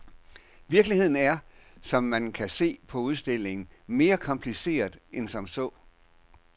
Virkeligheden er, som man kan se på udstillingen, mere kompliceret end som så.